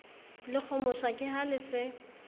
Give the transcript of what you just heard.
lekgomosha ke ha le se